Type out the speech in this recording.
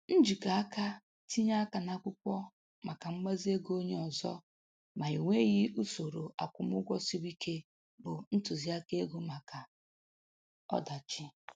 Njikọ aka tinye aka n'akwụkwọ maka mgbazi ego onye ọzọ ma e nweghị usoro akwụmụgwọ siri ike bụ ntụziaka ego maka ọdachi